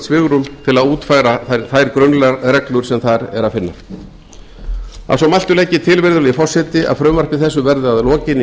svigrúm til að útfæra þær grunnreglur sem þar er að finna að svo mæltu legg ég til virðulegi forseti að frumvarpi þessu verði að lokinni